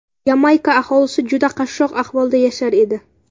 Yamayka aholisi juda qashshoq ahvolda yashar edi.